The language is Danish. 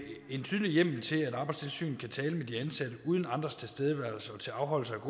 en tydelig hjemmel til at arbejdstilsynet kan tale med de ansatte uden andres tilstedeværelse og til afholdelse